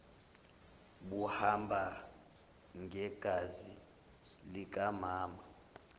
buhamba ngegazi likamama